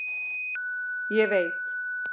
Ég veit